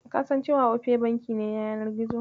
Kasan cewa Opay banki ne na yanar gizo?